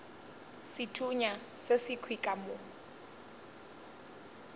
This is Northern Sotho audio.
sethunya se sekhwi ka mo